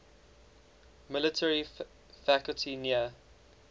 military facility near